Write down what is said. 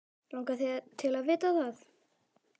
Langar þig til að vita það?